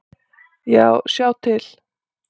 Já, sjá til!